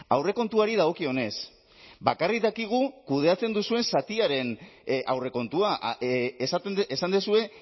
aurrekontuari dagokionez bakarrik dakigu kudeatzen duzuen zatiaren aurrekontua esan duzue